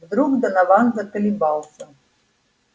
вдруг донован заколебался